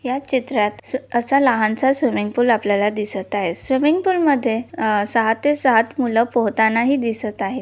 या चित्रात असा लहानसा स्विमिंग पूल आपल्याला दिसत आहे स्विमिंग पूल मध्ये अ सहा ते सात मुले पोहताना हि दिसत आहे.